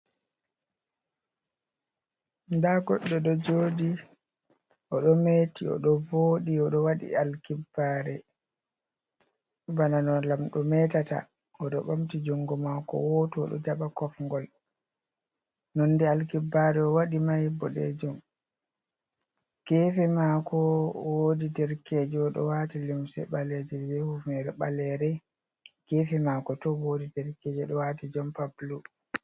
Da goɗɗo ɗo joɗi, oɗometi, oɗo voɗi, oɗo waɗi alkibbare, bana no lam ɗo metata, oɗo ɓamti jungo mako woto oɗo jaɓa kofgol. nonde alkibbare o waɗi mai boɗejum. gefe mako wodi derkeje oɗo wati limse baleje, be humnere balere, gefe mako to wodi derkeje oɗo wati jompa bulu.